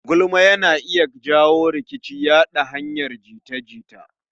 Gulma yana iya janyo rikici ya hanyar yaɗa jita-jita